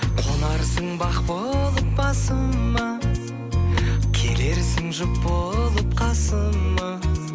қонарсың бақ болып басыма келерсің жұп болып қасыма